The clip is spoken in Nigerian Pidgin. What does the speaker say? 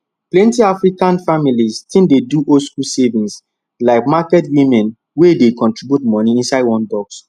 plenty african families still dey do oldschool savings like market women wey dey contribute money inside one box